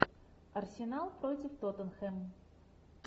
арсенал против тоттенхэм